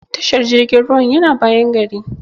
Tashar jirgin ruwan yana bayan gari.